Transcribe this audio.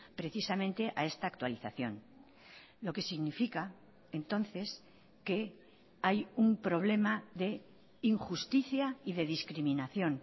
precisamente a esta actualización lo que significa entonces que hay un problema de injusticia y de discriminación